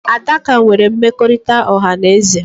Adaka nwere mmekọrịta ọha na eze